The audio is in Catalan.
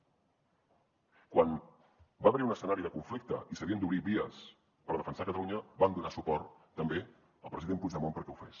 quan va haver hi un escenari de conflicte i s’havien d’obrir vies per defensar catalunya vam donar suport també al president puigdemont perquè ho fes